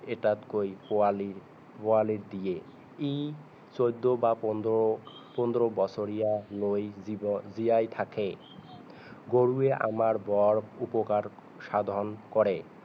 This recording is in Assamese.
এটাতকৈ পোৱালি পোৱালি দিয়ে ই চৌধৰ বা পোন্ধৰ পোন্ধৰ বছৰিয়ালৈ জিব জিয়াই থাকে গৰুৱে আমাৰ বৰ উপকাৰ সাধন কৰে